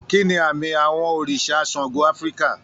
Kí ni àmì àwọ̀ òrìṣà Ṣàngó Áfíríkà?